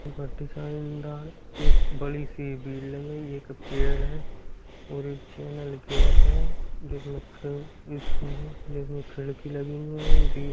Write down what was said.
एक बड़ी-सी पेड़ है और एक चैनल गेट है जिसमें क स्कूल में जिसमें खिड़की लगी हुई है दीवाल --